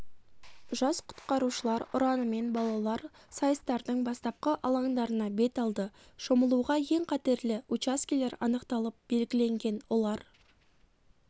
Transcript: жас құтқарушылар ұранымен балалар сайыстардың бастапқы алаңдарына бет алды шомылуға ең қатерлі учаскелер анықталып белгіленген олар